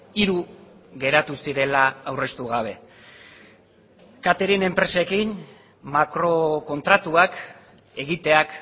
hiru geratu zirela aurreztu gabe catering enpresekin makrokontratuak egiteak